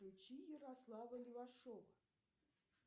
включи ярослава левашова